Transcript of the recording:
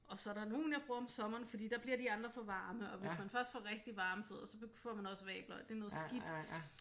Og så er der nogle jeg bruger om sommeren fordi der bliver de andre for varme og hvis man først får rigtig varme fødder så får man også vabler og det er noget skidt